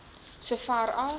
so ver as